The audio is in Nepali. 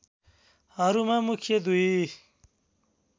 हरूमा मुख्य दुई